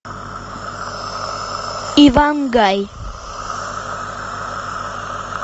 иван гай